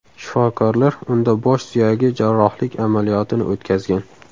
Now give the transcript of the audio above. Shifokorlar unda bosh suyagi jarrohlik amaliyot ini o‘tkazgan.